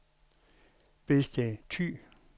Bedsted Thy